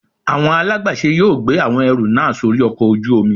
Awọn alagbàṣe yóò gbe awọn ẹru naa sori ọkò ojú omí